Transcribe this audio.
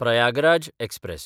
Prayagraj express